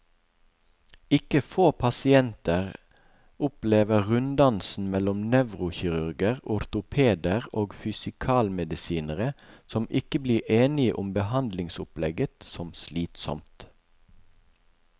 Ikke få pasienter opplever runddansen mellom nevrokirurger, ortopeder og fysikalmedisinere, som ikke blir enige om behandlingsopplegget, som slitsom.